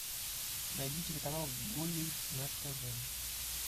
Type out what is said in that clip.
найди телеканал гулли на тв